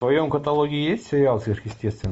в твоем каталоге есть сериал сверхъестественное